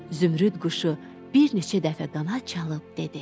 Zümrüd quşu bir neçə dəfə qanad çalıb dedi: